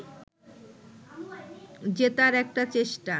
জেতার একটা চেষ্টা